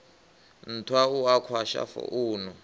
nthwa u a kwasha founu